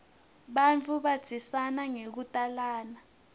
bantfu bandzisana ngekutalana